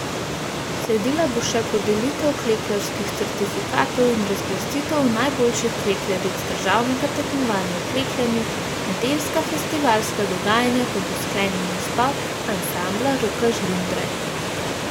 Sledila bo še podelitev klekljarskih certifikatov in razglasitev najboljših klekljaric državnega tekmovanja v klekljanju, nedeljska festivalska dogajanja pa bo sklenil nastop ansambla Roka Žlindre.